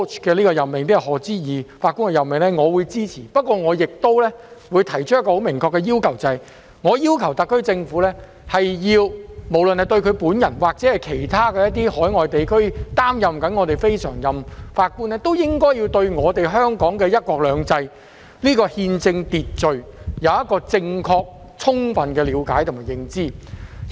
我支持這次賀知義法官的任命，但我想提出一個明確的要求，即特區政府須表明，無論賀知義本人，還是來自其他海外地區正擔任我們非常任法官的人，都應對香港"一國兩制"的憲政秩序有正確充分的了解和認知。